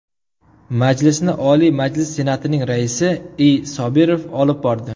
Majlisni Oliy Majlis Senatining Raisi I. Sobirov olib bordi.